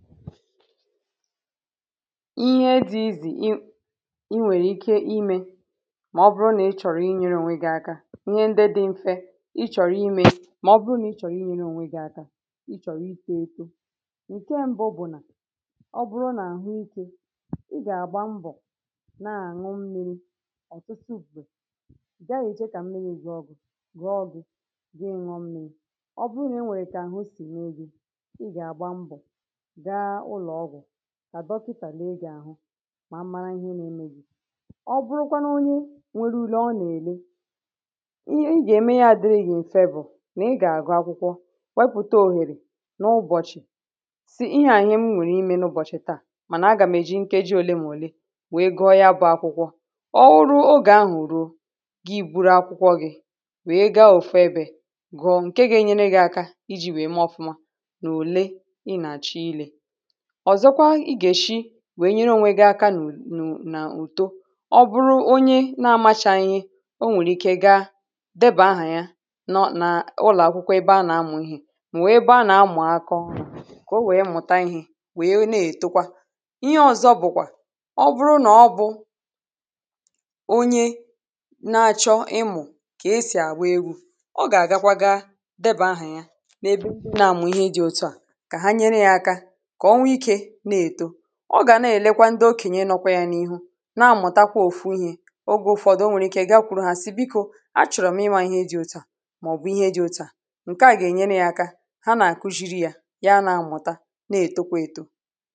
ihe dị̇ izì i i nwèrè ike imė ma ọ bụrụ na ị chọ̀rọ̀ inyė rùo ànwe gị̇ aka, ihe ndị dị̇ mfe ị chọ̀rọ̀ imė mà ọ bụrụ nà ị chọ̀rọ̀ inyė rùo ànwe gị̇ aka ị chọ̀rọ̀ ike etȯ ǹke mbụ bụ̀ nà ọ bụrụ nà àhụ ike ị gà-àgba mbọ̀ na-àṅụ mmiri̇ ọ̀tụtụ bụ̀ gaghị̇ ichė kà mmiri̇ gị ọ gị̇ gị̇ ṅụṅmmiri̇ ọ bụrụ nà i nwèrè kà àhụ sìma egì ị gà-àgba mbọ̀ àdọpụtà lee gị̇ àhụ mà mmara ihe nȧ-eme gị̇ ọ bụrụkwanụ onye nwere ule ọ nà-èle ị gà-ème ya dịrị ịfẹ bụ̀ nà ị gà-àgụ akwụkwọ wepụ̀ta òhèrè n’ụbọ̀chị̀ sị ihẹ ànyị m nwèrè imė n’ụbọ̀chị̀ taà mànà a gà-àmeji nkeji òle mà òle wèe gụọ ya bụ̇ akwụkwọ ọọ̇ ruo ogè ahụ̀ rùo gị bụrụ akwụkwọ gị̇ wèe gȧ-ọ̀febė gụọ nke gȧ-enyere gị̇ aka iji̇ wèe mee ọfụma nà òle ị nàchaa ilė wèe nyere onwė gị aka nà ùtù ọ bụrụ onye na amachà ihe o nwèrè ike gaa debà ahà ya nọ n’ụlọ̀ akwụkwọ ebe a nà-amụ̀ ihe mà wee baa nà-amụ̀ akọ kà o wee mụ̀ta ihe wee na-ètokwa ihe ọzọ̇ bụ̀kwà ọ bụrụ nà ọ bụ̀ onye na-achọ ịmụ̀ kà esì àgba egwu̇ ọ gà-àgakwa gaa debà ahà ya na-ebe i bụ̇ nà amụ̀ ihe dị ọtọ à ọ gà na-èlekwa ndị okenye nọkwa yȧ n’ihu na-amụ̀ta kwà òfu ihė ogė ụ̀fọdụ o nwèrè ike gaa kwuru ha siikọ̇ achọ̀rọ̀ m ịmȧ ihe dị òtù a màọ̀bụ̀ ihe dị òtù a ǹke a gà-ènyere yȧ aka ha nà-àkụ shiri yȧ ya na-amụ̀ta na-ètokwa ètò